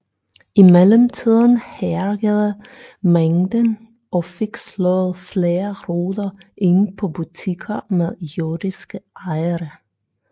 I mellemtiden hærgede mængden og fik slået flere ruder ind på butikker med jødiske ejere